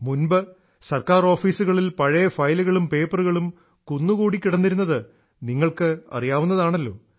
മുമ്പ് ഗവണ്മെന്റ് ഓഫീസുകളിൽ പഴയ ഫയലുകളും പേപ്പറുകളും കുന്നുകൂടികിടന്നിരുന്നത് നിങ്ങൾക്ക് അറിയാവുന്നതാണല്ലോ